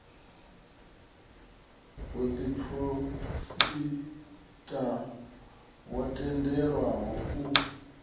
u diphosita wo tendelwaho u